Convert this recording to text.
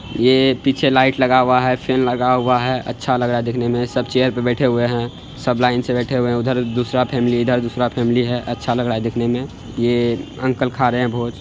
ये पीछे लाइट लगा हुआ है फेन लगा हुआ है अच्छा लग रहा है देखने मे सब चेयर पर बैठे हुए हैं सब लाइन से बैठे हुए हैं उधर दूसरा फेमली इधर दूसरा फेमली है| अच्छा लग रहा है देखने में ये अंकल खा रहे हैं भोज।